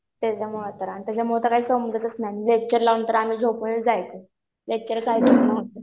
त्याच्यामुळं तर. आणि त्याच्यामुळं तर काही समजतच नाही. लेक्चर लावून तर आम्ही झोपूनच जायचो.लेक्चर काय बघणं होतंय.